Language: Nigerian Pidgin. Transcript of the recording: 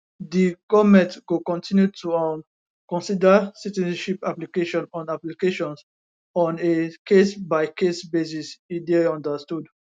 di goment go continue to um consider citizenship applications on applications on a casebycase basis e dey understood